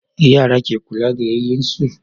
Yara ke kula da yayyin su